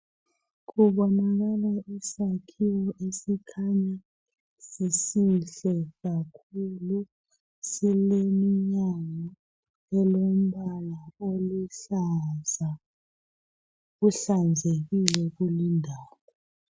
Kubonakala isakhiwo esikhanya sisihle kakhulu. Sileminyango olombala oluhlaza. Kuhlanzekile kulindawo.